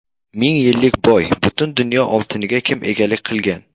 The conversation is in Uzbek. Ming yillik boy: butun dunyo oltiniga kim egalik qilgan?.